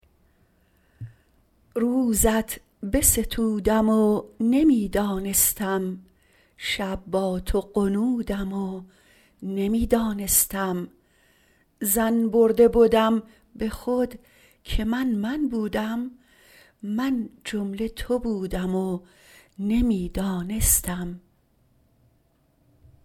روزت بستودم و نمی دانستم شب با تو غنودم و نمی دانستم ظن برده بدم به خود که من من بودم من جمله تو بودم و نمی دانستم